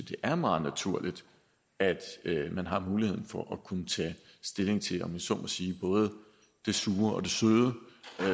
det er meget naturligt at man har muligheden for at kunne tage stilling til om jeg så må sige både det sure og det søde